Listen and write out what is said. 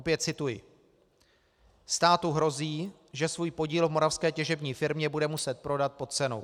Opět cituji: "Státu hrozí, že svůj podíl v moravské těžební firmě bude muset prodat pod cenou.